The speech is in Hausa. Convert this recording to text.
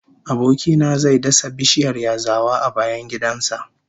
Aboki na zai dasa bishiyar yazawa a bayan gidan sa